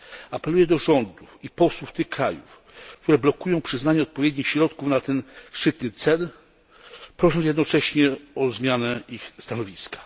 Apeluję do rządów i posłów tych krajów, które blokują przyznanie odpowiednich środków na ten szczytny cel, prosząc jednocześnie o zmianę ich stanowiska.